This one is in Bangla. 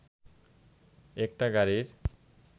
একটা গাড়ির